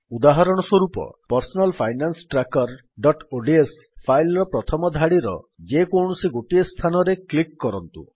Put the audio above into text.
ଉଦାହରଣ ସ୍ୱରୂପ personal finance trackerଓଡିଏସ ଫାଇଲ୍ ର ପ୍ରଥମ ଧାଡିର ଯେକୌଣସି ଗୋଟିଏ ସ୍ଥାନରେ କ୍ଲିକ୍ କରନ୍ତୁ